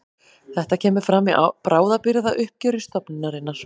Þetta kemur fram í bráðabirgðauppgjöri stofnunarinnar